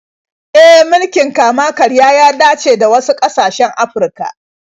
E, mulkin kama-karya ya dace da wasu ƙasashen Afirka.